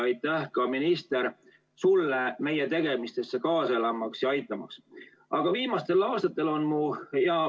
Aitäh ka, minister, sulle meie tegemistele kaasa elamast ja meid aitamast!